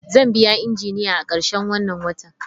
Zan biya Injiniya a karshen wannan watan.